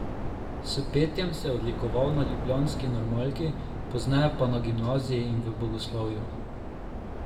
S petjem se je odlikoval na ljubljanski normalki, pozneje pa na gimnaziji in v bogoslovju.